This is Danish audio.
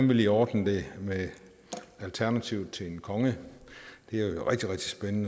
vil ordne det med alternativet til en konge det